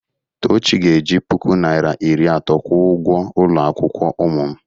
Tochi ga-eji puku naịra iri atọ kwụọ ụgwọ ụlọ akwụkwọ ụmụ m.